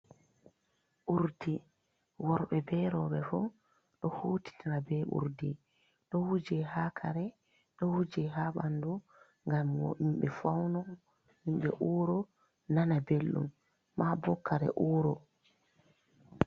Urdi worbe be roɓe fu do hutitina be urdi do wuje ha kare do wuje ha ɓandu ngam himbe fauna himbe ura nana belɗum mabo kare uro.